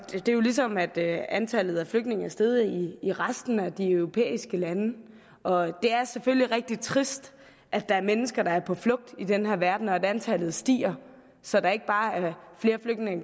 det er jo ligesom at antallet af flygtninge er steget i resten af de europæiske lande og det er selvfølgelig rigtig trist at der er mennesker der er på flugt i den her verden og at antallet stiger så der ikke bare